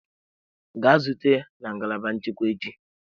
Gaa zute ya na ngalaba nchekwa echi!